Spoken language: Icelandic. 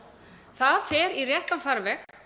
það fer í réttan farveg